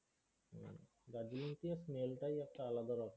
Darjeeling tea এর smell টাই একটা আলাদা ব্যাপার।